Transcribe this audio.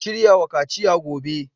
Ku shirya wa kaciya gobe